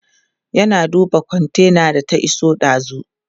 yana duba kontainar da ta iso dazun